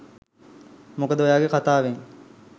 මොකද ඔයාගේ කතාවෙන්